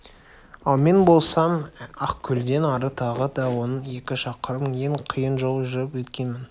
ал мен болсам ақкөлден ары тағы да он-он екі шақырым ең қиын жол жүріп өткенмін